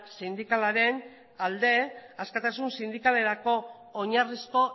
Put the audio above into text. sindikalaren alde askatasun sindikalerako oinarrizko